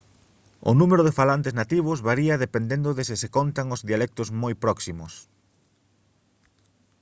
o número de falantes nativos varía dependendo de se se contan os dialectos moi próximos